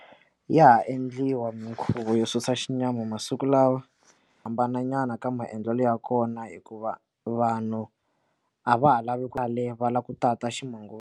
Yaha endliwa minkhuvo yo susa xinyama masiku lawa hambana nyana ka maendlelo ya kona hikuva vanhu a va ha lavi kwale va lava ku tata ximanguva.